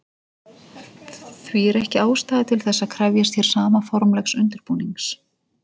Því er ekki ástæða til þess að krefjast hér sama formlegs undirbúnings.